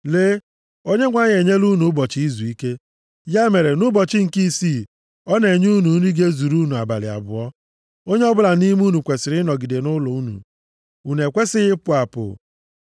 Lee, Onyenwe anyị enyela unu ụbọchị izuike. Ya mere, nʼụbọchị nke isii ọ na-enye unu nri ga-ezuru unu abalị abụọ. Onye ọbụla nʼime unu kwesiri ịnọgide nʼụlọ unu. Unu ekwesighị ịpụ apụ.”